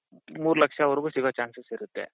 ಮೂರ್ ಲಕ್ಷ ವರ್ಗು ಸಿಗೋ chances ಇರುತ್ತೆ.